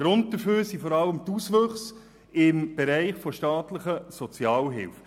Grund dafür sind vor allem die Auswüchse im Bereich der staatlichen Sozialhilfe.